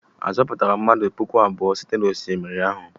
A zọpụtara mmadụ puku abụọ site n'osimiri ahụ?